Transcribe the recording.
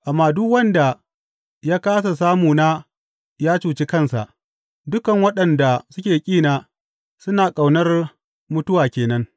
Amma duk wanda ya kāsa samuna ya cuci kansa; dukan waɗanda suke ƙina suna ƙaunar mutuwa ke nan.